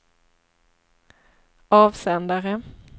avsändare